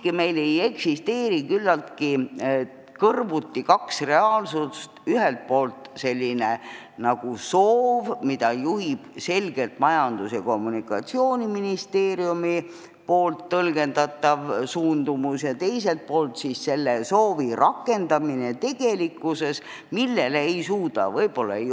Kas meil ei eksisteeri siiski küllaltki kõrvuti kaks reaalsust: ühelt poolt soov, mida juhib selgelt Majandus- ja Kommunikatsiooniministeeriumi tõlgendatav suundumus, ja teiselt poolt selle soovi rakendamine tegelikkuses?